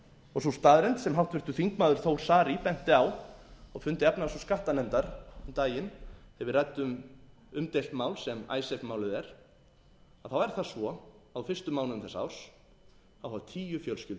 og sú staðreynd sem háttvirtur þingmaður þór saari benti á á fundi efnahags og skattanefndar um daginn þegar við ræddum umdeilt mál sem icesave málið er þá er það svo að á fyrstu mánuðum þessa árs hafa tíu fjölskyldur flutt úr landi á hverjum